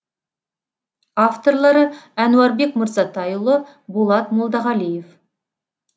авторлары әнуарбек мырзатайұлы болат молдағалиев